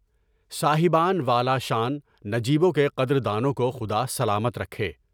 صاحبان والا شان نجیوں کے قدر دانوں کو خدا سلامت رکھے۔